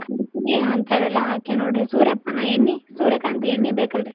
ಹಂತಾವೆಲ್ಲ ಹಾಕೇವ್ ನೋಡ್ರಿ ಸೂರ್ಯಪಾನ ಎಣ್ಣಿ, ಸೂರ್ಯಕಾಂತಿ ಎಣ್ಣಿ ಬೇಕಲ್ರಿ.